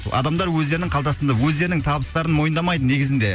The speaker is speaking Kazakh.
адамдар өздерінің қалтасында өздерінің табыстарын мойындамайды негізінде